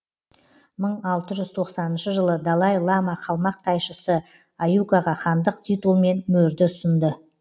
мың алты жүз тоқсаныншы жылы далай лама қалмақ тайшысы аюкаға хандық титул мен мөрді ұсынды